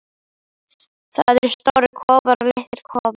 Það eru stórir kofar og litlir kofar.